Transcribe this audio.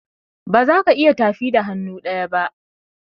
bazaka iya tafi da hannu ɗaya ba.